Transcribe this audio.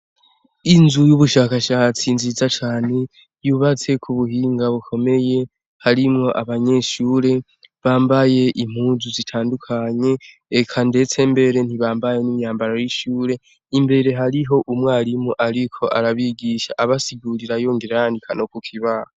Inzu y'ubushakashatsi nziza cane yubatse k'ubuhinga bikomeye, harimwo abanyeshure bambaye impuzu zitandukanye, eka ndetse mbere ntibambaye imyambaro y'ishure ,imbere hariho umwarimu ariko arabigisha abasigurira yongera yandika no kukibaho.